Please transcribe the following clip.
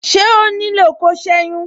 Ṣé ó nílò ko seyin?